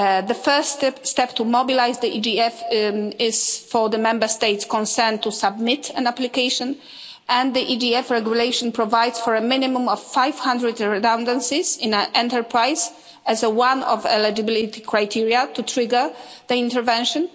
The first step to mobilise the EGF is for the Member States concerned to submit an application and the EGF regulation provides for a minimum of 500 redundancies in an enterprise as one of the eligibility criteria to trigger the intervention.